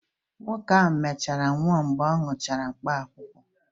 Nwoke ahụ ọ mechara nwụọ mgbe ọ nwụchara mkpaakwụkwọ?